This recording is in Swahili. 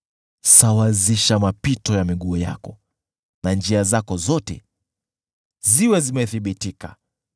Sawazisha mapito ya miguu yako na njia zako zote ziwe zimethibitika.